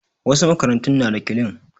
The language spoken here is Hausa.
Wasu makarantun na da kilinik